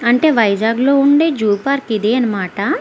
అంటే వైజాగ్ లో వుండే జూ పార్క్ ఇది అనమాట.